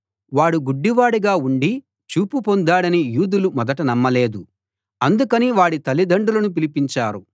వాడు గుడ్డివాడుగా ఉండి చూపు పొందాడని యూదులు మొదట నమ్మలేదు అందుకని వాడి తల్లిదండ్రులను పిలిపించారు